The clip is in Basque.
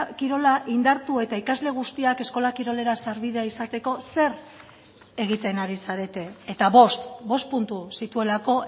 kirola indartu eta ikasle guztiak eskola kirolera sarbidea izateko zer egiten ari zarete eta bost bost puntu zituelako